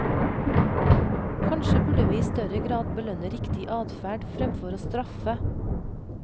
Kanskje burde vi i større grad belønne riktig adferd fremfor å straffe.